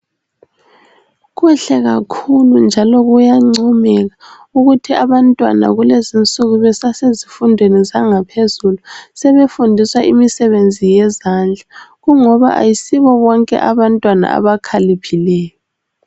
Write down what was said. kuhle kakhulu njalo kuyancomeka ukuthi abantwana kulezinsuku besasezifundweni zangaphezulu sebefundiswa imisebenzi yezandla kungoba ayisibo bonke abantwana abakhaliphileyo